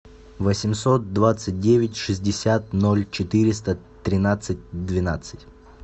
восемьсот двадцать девять шестьдесят ноль четыреста тринадцать двенадцать